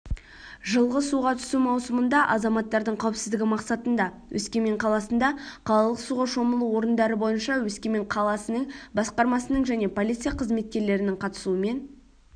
жылғы суға түсу маусымында азамаматтардың қауіпсіздігі мақсатында өскемен қаласында қалалық суға шомылу орындары бойынша өскемен қаласының басқармасының және полиция қызметкерлерінің қатысуымен